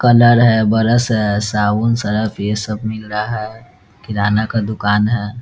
Colour है brush है साबुन सरफ ये सब मिल रहा है किराना का दुकान है।